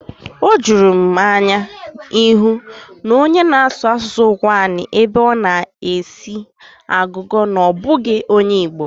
Ọ juru m anya ịhụ onye na-asụ asụsụ Ụkwụani ebe ọ na-esi agụgọ na ọ bụghị onye Igbo.